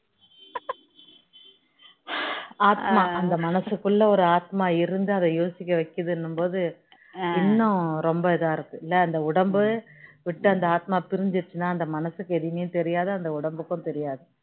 ஆத்மா அந்த மனசுகுள்ள அந்த மனசுகுள்ள ஒரு ஆத்மா இருந்து அதை யோசிக்க வைக்குது அப்படின்னும் போது இன்னும் ரொம்ப இதா இருக்கு இல்ல இந்த உடம்ப விட்டு அந்த ஆத்மா பிரிஞ்சிடுச்சுனா அந்த மனசுக்கு ஏதுமே தெரியாது அந்த உடம்புக்கும் தெரியாது